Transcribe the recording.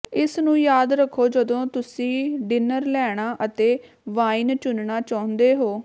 ਇਸ ਨੂੰ ਯਾਦ ਰੱਖੋ ਜਦੋਂ ਤੁਸੀਂ ਡਿਨਰ ਲੈਣਾ ਅਤੇ ਵਾਈਨ ਚੁਣਨਾ ਚਾਹੁੰਦੇ ਹੋ